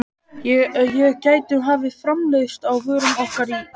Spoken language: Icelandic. Við gætum hafið framleiðslu á vörum okkar í